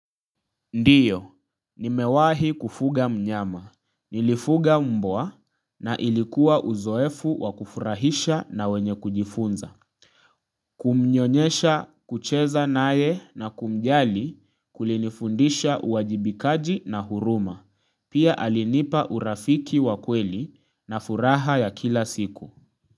Ndio, nimewahi kufuga mnyama, nilifuga mbwa na ilikuwa uzoefu wa kufurahisha na wenye kujifunza. Kumnyonyesha kucheza naye na kumjali kulinifundisha uwajibikaji na huruma. Pia alinipa urafiki wa kweli na furaha ya kila siku.